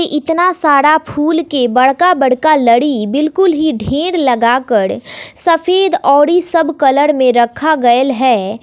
इतना सारा फूल के बड़का बड़का लड़ी बिल्कुल ही ढेर लगाकर सफेद औरी सब कलर में रखा गयल है।